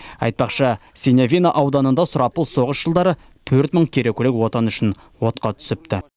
айтпақшы синявино ауданында сұрапыл соғыс жылдары төрт мың керекулік отан үшін отқа түсіпті